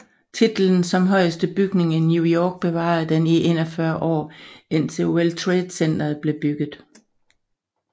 Titlen som højeste bygning i New York bevarede den i 41 år indtil World Trade Center blev bygget